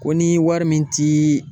Ko ni wari min ti